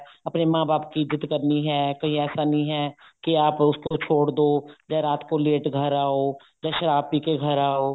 ਆਪਨੇ ਮਾਂ ਬਾਪ ਕੀ ਇੱਜ਼ਤ ਕਰਨੀ ਹੈ ਕਿ ਐਸਾ ਨਹੀਂ ਹੈ ਕੀ ਆਪ ਉਸਕੋ ਛੋੜ ਦੋ ਜਾਂ ਰਾਤ ਕੋ ਘਰ late ਆਓ ਜਾਂ ਸ਼ਰਾਬ ਪੀਕੇ ਘਰ ਆਓ